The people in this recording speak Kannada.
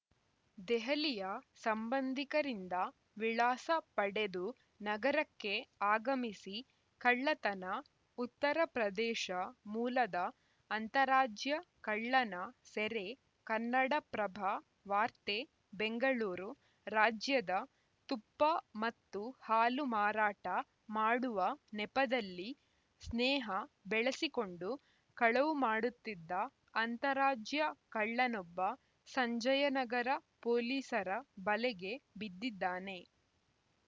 ದೆಹಲಿಯ ಸಂಬಂಧಿಕರಿಂದ ವಿಳಾಸ ಪಡೆದು ನಗರಕ್ಕೆ ಆಗಮಿಸಿ ಕಳ್ಳತನ ಉತ್ತರ ಪ್ರದೇಶ ಮೂಲದ ಅಂತಾರಾಜ್ಯ ಕಳ್ಳನ ಸೆರೆ ಕನ್ನಡಪ್ರಭ ವಾರ್ತೆ ಬೆಂಗಳೂರು ರಾಜ್ಯದ ತುಪ್ಪ ಮತ್ತು ಹಾಲು ಮಾರಾಟ ಮಾಡುವ ನೆಪದಲ್ಲಿ ಸ್ನೇಹ ಬೆಳೆಸಿಕೊಂಡು ಕಳವು ಮಾಡುತ್ತಿದ್ದ ಅಂತಾರಾಜ್ಯ ಕಳ್ಳನೊಬ್ಬ ಸಂಜಯನಗರ ಪೊಲೀಸರ ಬಲೆಗೆ ಬಿದ್ದಿದ್ದಾನೆ